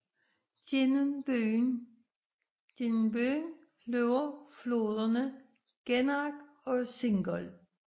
Gennem byen løber floderne Gennach og Singold